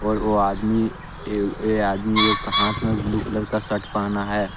और वो आदमी ये ये आदमी एक हाथ में ब्लू कलर का शर्ट पहना है।